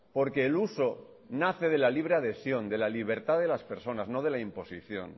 porque el uso nace de la libre adhesión de la libertad de las personas no de la imposición